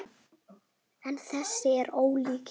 En þessi er ólíkur hinum.